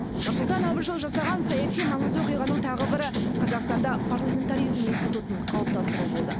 нұрсұлтан әбішұлы жасаған саяси маңызды оқиғаның тағы бірі қазақстанда парламентаризм институтын қалыптастыру болды